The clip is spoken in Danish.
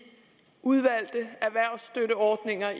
udvalgte erhvervsstøtteordninger